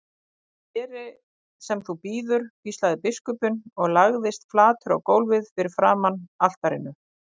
Ég geri sem þú býður, hvíslaði biskupinn og lagðist flatur á gólfið frammi fyrir altarinu.